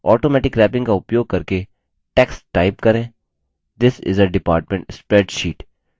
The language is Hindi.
automatic wrapping का उपयोग करके text type करेंthis is a department spreadsheet